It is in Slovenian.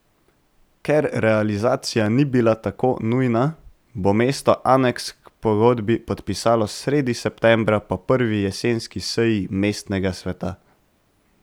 Ker realizacija ni bila tako nujna, bo mesto aneks k pogodbi podpisalo sredi septembra po prvi jesenski seji mestnega sveta.